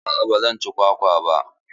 Aa ba zan ci kwakwa ba.